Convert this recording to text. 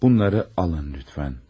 Bunları alın, lütfən.